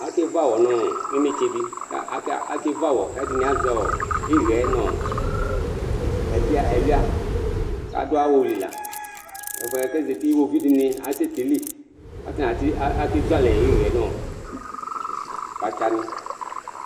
akevu awɔ nʊ inetsedɩ, ɛdɩnɩ azɛ iɣɛ nʊ ɛluia, kʊ adʊ awuli la, iwoviu dɩnɩ asɛtili, kʊ atanɩ akezu alɛ iɣɛ nʊ kpatsanɩ